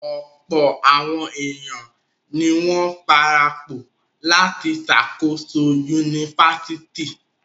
Ọ̀pọ̀ àwọn ènìyàn ni wọ́n parapọ̀ láti ṣàkóso yunifásítì.